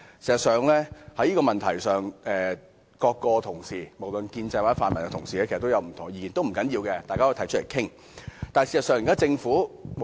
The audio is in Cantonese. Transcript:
在這問題上，各位同事——無論是建制或泛民同事——其實也有不同意見，不要緊，大家可提出來討論。